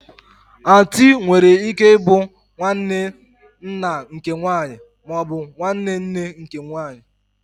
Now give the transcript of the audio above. Ọntu nwere ike ịbụ nwanne nna nke nwanyị ma ọ bụ nwanne nne nke nwanyị